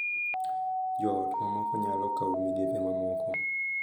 Jo ot mamoko nyalo kawo migepe mamoko,